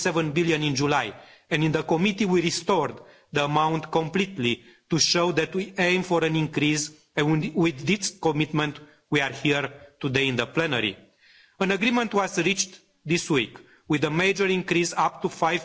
1.7 billion in July and in the committee we restored the amount completely to show that we aim for an increase, and with this commitment we are here today in the plenary. An agreement was reached this week with a major increase up to